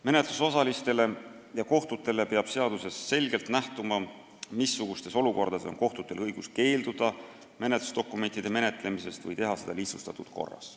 Menetlusosalistele ja kohtutele peab seadusest selgelt nähtuma, missugustes olukordades on kohtutel õigus keelduda menetlusdokumentide menetlemisest või teha seda lihtsustatud korras.